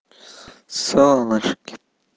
солнышки